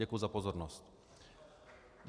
Děkuji za pozornost.